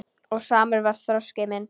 Og samur var þroski minn.